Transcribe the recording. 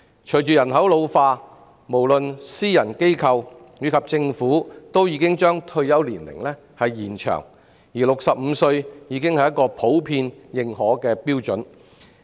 隨着人口老化，私人機構及政府均把退休年齡延長 ，65 歲已是普遍認可的標準。